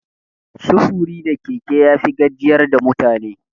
Sufuri da keke yafi gajiyar da mutane.